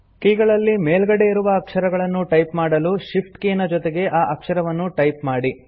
ಕೀಗಳಲ್ಲಿ ಮೇಲ್ಗಡೆ ಇರುವ ಅಕ್ಷರಗಳನ್ನು ಟೈಪ್ ಮಾಡಲು Shift ಕೀ ನ ಜೊತೆಗೆ ಆ ಅಕ್ಷರವನ್ನು ಟೈಪ್ ಮಾಡಿ